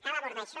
cal abordar això